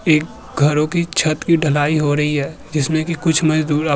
एक घरो कि छत की ढलाई हो रही है जिसमें की कुछ मजदूर आप --